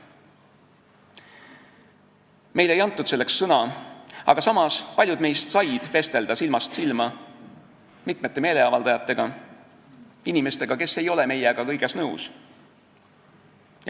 Meile ei antud sõna, aga samas said paljud meist vestelda silmast silma mitme meeleavaldajaga, inimestega, kes ei ole meiega kõiges nõus.